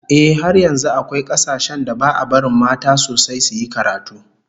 Ehh, har yanzu akwai kasashen da ba'a barin mata sosai suyi karatu